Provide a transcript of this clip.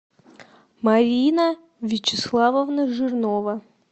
марина вячеславовна жирнова